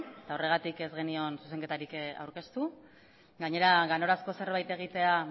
eta horregatik ez genion zuzenketarik aurkeztu gainera ganorazko zerbait egitea